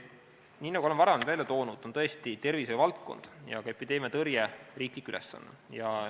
Nii nagu olen varem välja toonud, on tervishoiuvaldkond ja ka epideemiatõrje riiklik ülesanne.